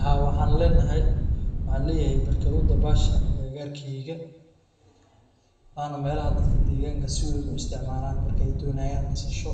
Ha waxan lenahay waxan leeyahay barkadu dabaasha aga garkeyga wana melaha dadka deganka si weyn u isticmalan marka ay doonayan inay nastan nasho,